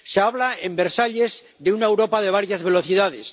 Se habla, en Versalles, de una Europa de varias velocidades.